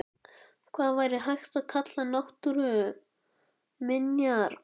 Hvað væri hægt að kalla náttúruminjar?